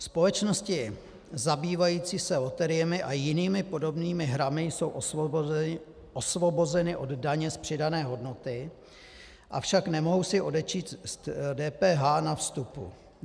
Společnosti zabývající se loteriemi a jinými podobnými hrami jsou osvobozeny od daně z přidané hodnoty, avšak nemohou si odečíst DPH na vstupu.